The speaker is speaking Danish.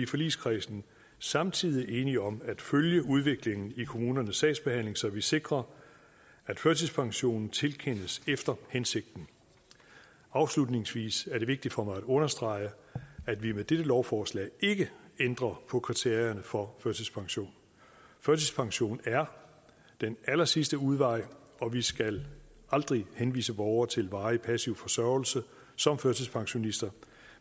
i forligskredsen samtidig enige om at følge udviklingen i kommunernes sagsbehandling så vi sikrer at førtidspensionen tilkendes efter hensigten afslutningsvis er det vigtigt for mig at understrege at vi med dette lovforslag ikke ændrer på kriterierne for førtidspension førtidspension er den allersidste udvej og vi skal aldrig henvise borgere til varig passiv forsørgelse som førtidspensionister